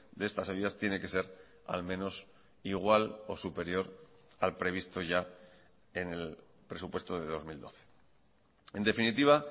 de estas ayudas tiene que ser al menos igual o superior al previsto ya en el presupuesto de dos mil doce en definitiva